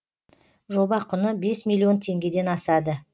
жоба құны бес миллион теңгеден асады